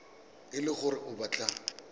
e le gore o batla